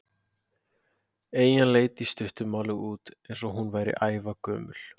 Eyjan leit í stuttu máli út eins og hún væri ævagömul.